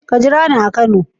Ka jira ni a kano.